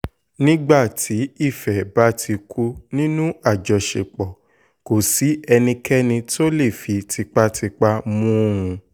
nígbà tí ìfẹ́ bá ti kú nínú àjọṣepọ̀ kò sí ẹnikẹ́ni tó lè fi tipátipá mú un